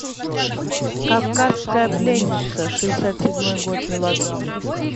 кавказская пленница шестьдесят седьмой год мелодрама